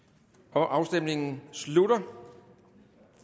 afstemningen slutter